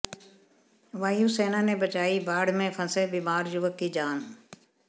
वायु सेना ने बचाई बाढ़ में फंसे बीमार युवक की जान